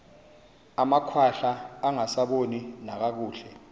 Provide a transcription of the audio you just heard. amakhwahla angasaboni nakakuhle